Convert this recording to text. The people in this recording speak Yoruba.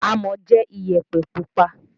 Amọ̀ jẹ́ Iyẹ̀pẹ̀ pupa